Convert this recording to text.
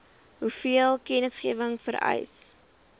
hoeveel kennisgewing vereis